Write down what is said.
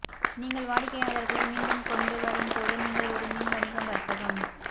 நீங்கள் வாடிக்கையாளர்களை மீண்டும் கொண்டுவரும்போது நீங்கள் ஒரு மின் வணிகம் வர்த்தகம்